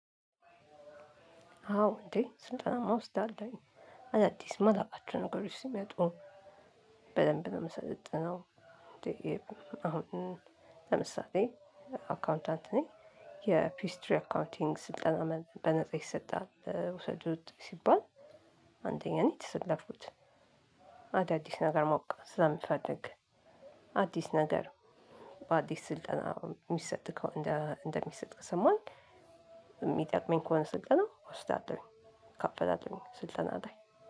አዎ እንዴ ስልጠናማ እወስዳለሁኝ። አዳዲስ ማላቃቸው ነገሮች ሲመጡ በደንብ ነው ምሰለጥነው። አሁን ለምሳሌ አካውንታንት ነኝ፥ የፒችትሪ አካውንቲንግ ስልጠና በነፃ ይሰጣል ውሰዱት ሲባል አንደኛ ነው የተሰለፍኩት። አዳዲስ ነገር ማወቅ ስለምፈልግ። አዲስ ነገር በአዲስ ስልጠና ሚሰጥ ከሆ እንደ እንደሚሰጥ ከሰማሁኝ የሚጠቅመኝ ከሆነ ስልጠናው ወስዳለሁኝ እካፈላለሁኝ ስልጠና ላይ።